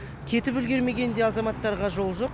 кетіп үлгермеген де азаматтарға жол жоқ